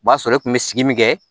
O b'a sɔrɔ e kun bɛ sigi min kɛ